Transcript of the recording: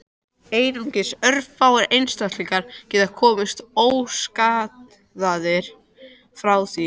Einungis örfáir einstaklingar geti komist óskaddaðir frá því.